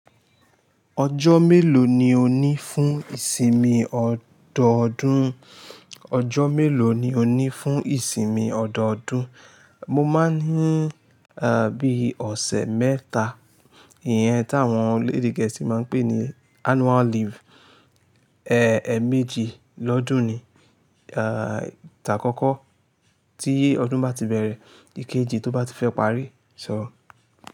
Ọjọ́ mélòó ni o ní fún ìsinmi ọdọọdún? Ọjọ́ mélòó ni o ní fún ìsinmi ọdọọdún? Mo máa ń ní, bí i ọ̀sẹ̀ mẹ́ta. Ìyẹn tí àwọn orílẹ̀-èdè gẹ̀ẹ́sì máa ń pè ní annual leave. Èèmejì lọ́dún ni, tàkókó tí ọdún bá ti bẹ̀rẹ̀, ìkejì tó bá ti fẹ́ parí. So.